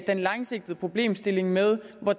den langsigtede problemstilling med at